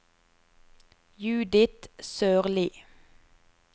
Judith Sørlie